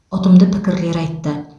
ұтымды пікірлер айтты